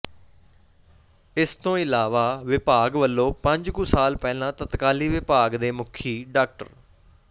ਇਸ ਤੋਂ ਇਲਾਵਾ ਵਿਭਾਗ ਵੱਲੋਂ ਪੰਜ ਕੁ ਸਾਲ ਪਹਿਲਾਂ ਤਤਕਾਲੀ ਵਿਭਾਗ ਦੇ ਮੁੱਖੀ ਡਾ